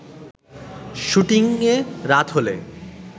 শুটিংয়ে রাত হলে